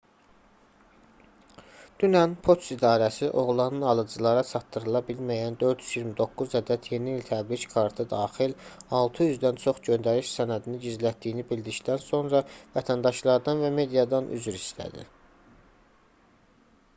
dünən poçt idarəsi oğlanın alıcılara çatdırıla bilməyən 429 ədəd yeni i̇l təbrik kartı daxil 600-dən çox göndəriş sənədini gizlətdiyini bildikdən sonra vətəndaşlardan və mediadan üzr istədi